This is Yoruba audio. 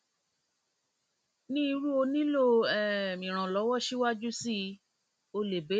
ni irú o nilo um iranlọwọ siwaju sii o le beere